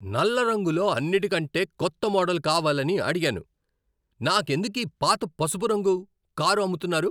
నల్ల రంగులో అన్నిటికంటే కొత్త మోడల్ కావాలని అడిగాను. నాకెందుకీ పాత పసుపు రంగు కారు అమ్ముతున్నారు?